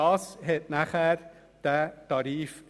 Das Ergebnis war dieser Tarif.